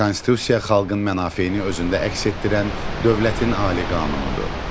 Konstitusiya xalqın mənafeyini özündə əks etdirən dövlətin ali qanunudur.